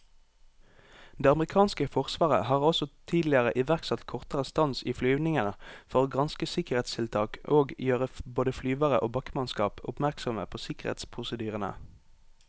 Det amerikanske forsvaret har også tidligere iverksatt kortere stans i flyvningene for å granske sikkerhetstiltak og gjøre både flyvere og bakkemannskap oppmerksomme på sikkerhetsprosedyrene.